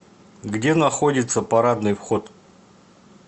где находится парадный вход